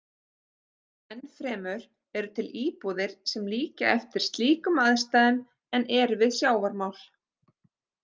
Enn fremur eru til íbúðir sem líkja eftir slíkum aðstæðum en eru við sjávarmál.